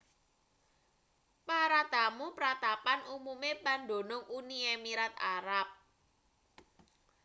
para tamu pratapan umume pandunung uni emirat arab